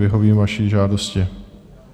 Vyhovím vaší žádosti.